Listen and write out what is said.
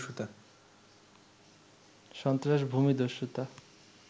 সন্ত্রাস, ভূমিদস্যুতা